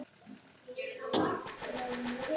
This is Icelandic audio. Þegar þú getur ekki meir.